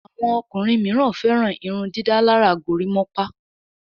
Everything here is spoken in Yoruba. Àwọn ọkùnrin míràn féràn irundidalara gorimopa.